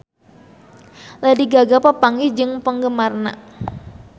Lady Gaga papanggih jeung penggemarna